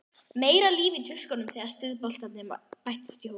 Meira líf í tuskunum þegar stuðboltarnir bættust í hópinn.